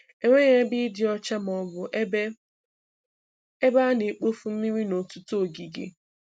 Enweghị ebe ịdị ọcha ma ọ bụ ebe ebe a na-ekpofu mmiri n'ọtụtụ ogige.